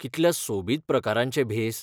कितल्या सोबीत प्रकारांचे भेस!